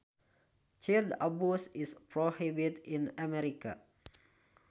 Child abuse is prohibited in America